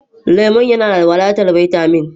Lemon yana da wadatar bitamin